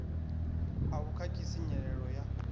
a vhu khakhisi nyelelo ya